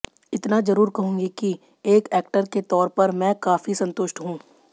इतना ज़रूर कहूंगी की एक एक्टर के तौर पर मैं काफी संतुष्ट हूँ